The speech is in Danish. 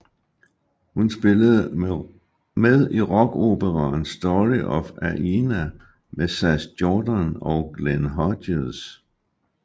Hun spillede med i rockoperaen Story of Aina med Sass Jordan og Glenn Hughes